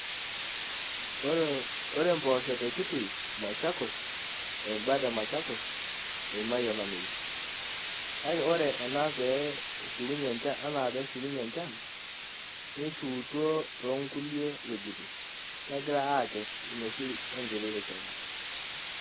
Ore mpoosho te Kitui Machakos o imbat e Machakos eimaa olameyu , kake ore enaa pee eshukunyie enchan, neishuwutuo too nkulie wuejitin, negirai aakes inoshi enkiti rishata.